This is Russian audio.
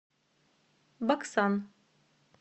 баксан